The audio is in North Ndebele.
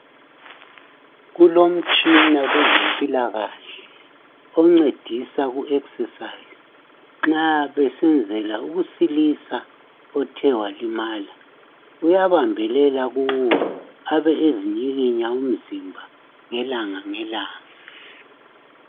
Kulomtshina kwezempilakahle oncedisa ukuzivoxavoxa nxa besenzela ukusilisa othe walimala. Uyabambelela kuwo athi ukuzinyikinya umzimba ngelanga ngelanga.